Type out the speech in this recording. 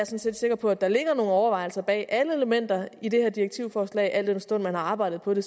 set sikker på at der ligger nogle overvejelser bag alle elementer i det her direktivforslag al den stund man har arbejdet på det